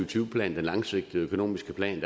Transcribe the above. tyve plan den langsigtede økonomiske plan